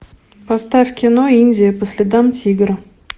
поставь кино индия по следам тигра